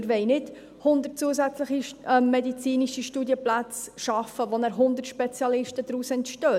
Wir wollen nicht 100 zusätzliche medizinische Studienplätze schaffen, woraus danach 100 Spezialisten entstehen;